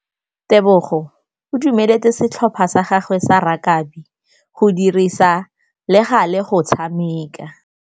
Tebogô o dumeletse setlhopha sa gagwe sa rakabi go dirisa le galê go tshameka.